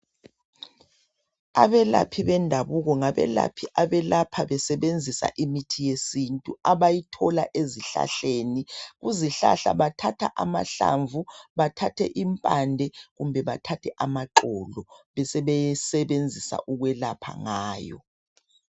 Abelaphi bendabuko ngabelaphi abelapha besebenzisa imithi yesintu abayithola ezihlahleni. Kuzihlahla bathatha amahlamvu bathathe impande, kumbe bathathe amaxolo, besebesebenzisa ukwelapha ngayo.